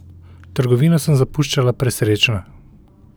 Trgovino sem zapuščala presrečna.